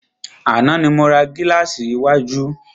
Àná ni mo ra gílàsì iwájú.